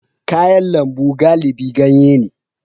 Kayan lambu galibi ganye ne